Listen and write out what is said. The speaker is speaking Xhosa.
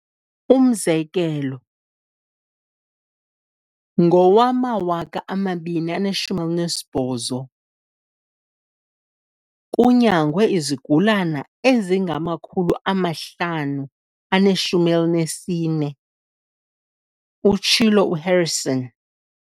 "Umzekelo, ngowama-2018, kunyangwe izigulana ezinga ma-514," utshilo uHarrison.